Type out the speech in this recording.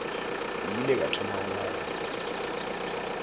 ile ka thoma go nagana